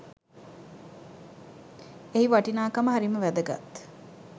එහි වටිනාකම හරිම වැදගත්.